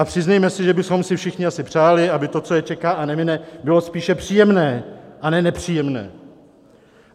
A přiznejme si, že bychom si všichni asi přáli, aby to, co je čeká a nemine, bylo spíše příjemné a ne nepříjemné.